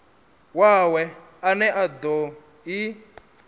wawe ane a do i